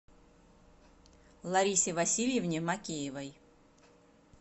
ларисе васильевне макеевой